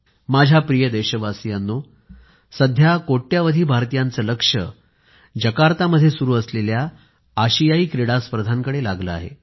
माझ्या प्रिय देशवासियांनो सध्या कोट्यवधी भारतीयांचे लक्ष जकार्तामध्ये सुरू असलेल्या आशियाई क्रीडा स्पर्धांकडे लागलं आहे